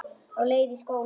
Á leið í skóla.